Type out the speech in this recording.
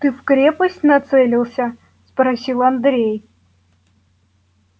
ты в крепость нацелился спросил андрей